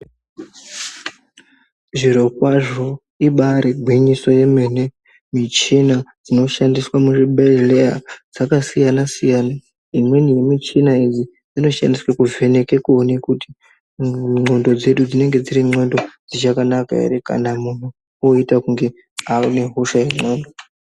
Zvirokwazvo ibari gwinyiso yemene michina inoshandiswa muzvibhedhlera dzakasiyana siyana imweni yemichina iyi inoshandiswa kuvheneka kuone kuti ndxondo dzedu dzinenge dziri ndxondo dzichakanaka ere kana muntu oite kunge ane hosha yendxondo.